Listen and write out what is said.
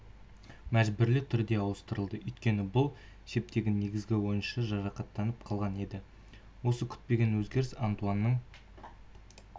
мәжбүрлі түрде ауыстырылды өйткені бұл шептегі негізгі ойыншы жарақаттанып қалған еді осы күтпеген өзгеріс антуанның